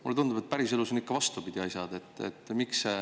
Mulle tundub, et päriselus on asjad ikka vastupidi.